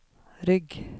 rygg